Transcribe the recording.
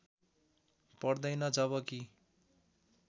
पर्दैनन् जब कि